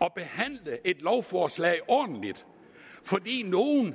at behandle et lovforslag ordentligt fordi nogle